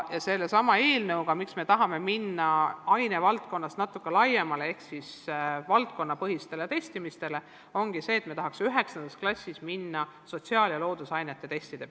Ja sellesama eelnõuga me tahamegi minna ainevaldkonniti üle natuke laiemale ehk valdkonnapõhisele testimistele, me tahaksime jõuda 9. klassis ka sotsiaal- ja loodusainete testideni.